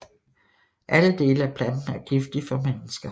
Alle dele af planten er giftig for mennesker